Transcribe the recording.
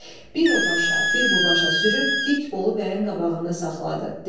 Bir o başa, bir bu başa sürüb, dik Bolu Bəyin qabağında saxladı.